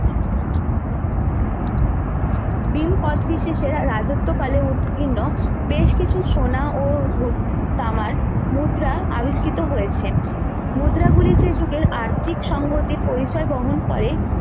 ভীম কোচটিসিজের তার রাজত্ব কালে উৎকীর্ণ বেশ কিছু সোনা ও তামার মুদ্রা আবিষ্কৃত হয়েছে মুদ্রা গুলি যে যুগের আর্থিক সংগতির পরিচয় বহন করে